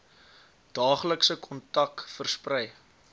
daaglikse kontak versprei